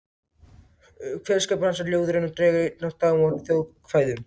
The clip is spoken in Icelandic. Kveðskapur hans er ljóðrænn og dregur einatt dám af þjóðkvæðum.